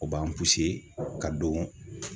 O b'an puse ka don